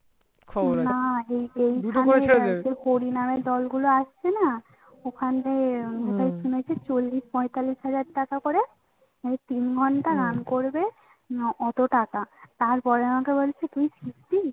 হরিনামের দলগুলো আসছে না ওখানে চল্লিশ পঁয়তাল্লিশ হাজার টাকা করে তিন ঘন্টা গান করবে এতো টাকা তারপরে আমাকে বলছে কি কি